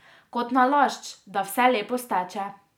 Kot nalašč, da vse lepo steče.